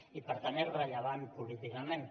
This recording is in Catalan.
i per tant és rellevant políticament